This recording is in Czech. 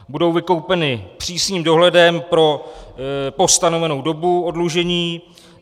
Budou vykoupena přísným dohledem po stanovenou dobu oddlužení.